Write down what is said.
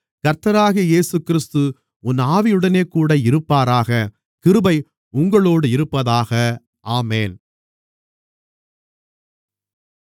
கர்த்தராகிய இயேசுகிறிஸ்து உன் ஆவியுடனேகூட இருப்பாராக கிருபை உங்களோடிருப்பதாக ஆமென்